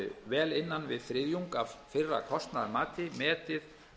vel innan við þriðjungs af fyrra kostnaðarmati metið